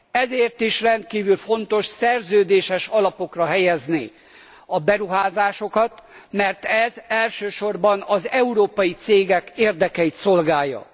Ezért is rendkívül fontos szerződéses alapokra helyezni a beruházásokat, mert ez elsősorban az európai cégek érdekeit szolgálja.